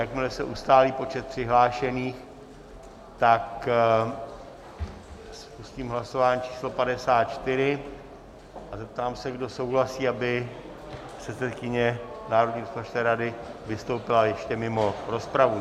Jakmile se ustálí počet přihlášených, tak spustím hlasování číslo 54 a zeptám se, kdo souhlasí, aby předsedkyně Národní rozpočtové rady vystoupila ještě mimo rozpravu.